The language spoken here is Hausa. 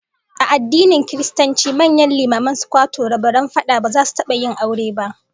A addinin Kiristanci, manyan limaman sucwato rabaran fada ba za su taba yin aure ba